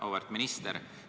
Auväärt minister!